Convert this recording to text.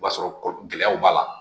O b'a sɔrɔ gɛlɛyaw b'a la